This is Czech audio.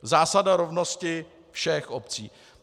Zásada rovnosti všech obcí.